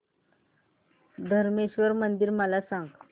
धरमेश्वर मंदिर मला सांग